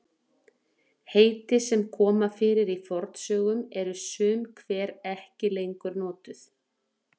heiti sem koma fyrir í fornsögum eru sum hver ekki lengur notuð